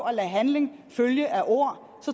at lade handling følge af ord